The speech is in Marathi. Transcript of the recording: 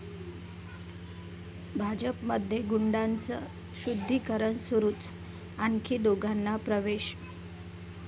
भाजपमध्ये गुंडांचं शुद्धीकरण सुरूच, आणखी दोघांना प्रवेश